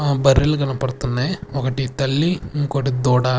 ఆ బర్రెలు కనపడుతున్నాయి ఒకటి తల్లి ఇంకొకటి దూడ.